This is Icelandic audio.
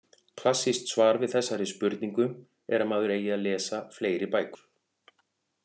Klassískt svar er við þessari spurningu er að maður eigi að lesa fleiri bækur.